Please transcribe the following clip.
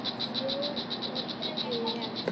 Fljóð sá ekki barnar.